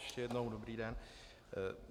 Ještě jednou dobrý den.